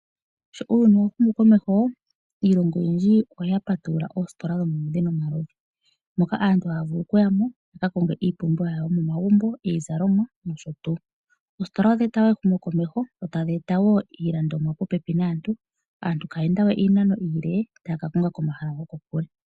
Sho uuyuni wa humu komeho, iilongo oyindji oya patulula oositola omaludhi nomaludhi, moka aantu haya vulu oku yamo, ya ka konge iipumbiwa yawo yomomagumbo iizalomwa, noshotuu. Oositola odha eta wo ehumo komeho, dho tadhi eta wo iilandomwa popepi naantu, aantu kaya ende we iinano iile, taya ka konga komahala goko kule.